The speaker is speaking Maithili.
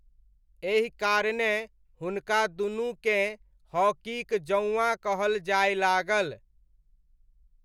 एहि कारणेँ हुनका दुनूकेँ हॉकीक जौआँ कहल जाय लागल।